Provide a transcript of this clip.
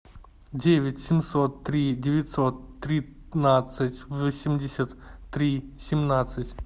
девять семьсот три девятьсот тринадцать восемьдесят три семнадцать